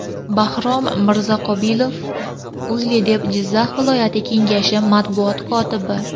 Bahrom Mirzaqobilov, O‘zLiDeP Jizzax viloyati kengashi matbuot kotibi .